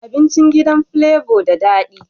Abincin gidan flavor da dadi